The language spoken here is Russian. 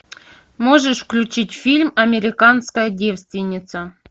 можешь включить фильм американская девственница